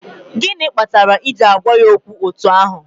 Gịnị kpatara i ji agwa ya okwu etu ahụ?